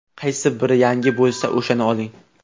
Qaysi biri yangi bo‘lsa, o‘shani oling.